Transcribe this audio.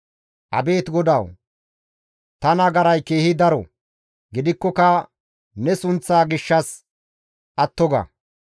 Abeet GODAWU! Ta nagaray keehi daro; gidikkoka ne sunththa gishshas atto ga.